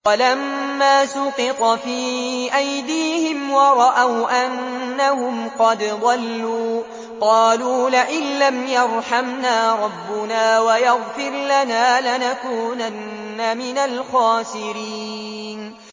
وَلَمَّا سُقِطَ فِي أَيْدِيهِمْ وَرَأَوْا أَنَّهُمْ قَدْ ضَلُّوا قَالُوا لَئِن لَّمْ يَرْحَمْنَا رَبُّنَا وَيَغْفِرْ لَنَا لَنَكُونَنَّ مِنَ الْخَاسِرِينَ